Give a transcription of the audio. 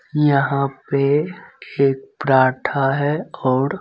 यहाँ पे एक पराठा है और--